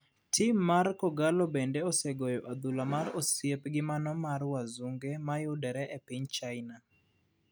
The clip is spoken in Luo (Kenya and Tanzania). Tim mar kogallo bende osegoyo adhula mar osiep gi mano mar Wazunge mayudore e piny china ,